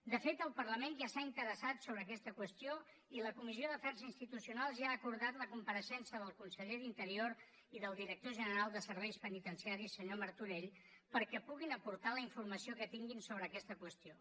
de fet el parlament ja s’ha interessat sobre aquesta qüestió i la comissió d’afers institucionals ja ha acordat la compareixença del conseller d’interior i del director general de serveis penitenciaris senyor martorell perquè puguin aportar la informació que tinguin sobre aquesta qüestió